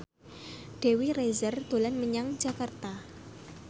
Dewi Rezer dolan menyang Jakarta